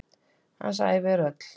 Hans ævi er öll.